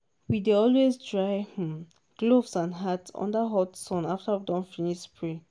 we dey always dry um gloves and hat under hot sun after we don finish spray.